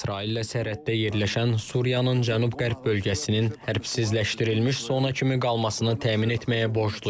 İsraillə sərhəddə yerləşən Suriyanın cənub-qərb bölgəsinin hərbsizləşdirilmiş zona kimi qalmasını təmin etməyə borcluyuq.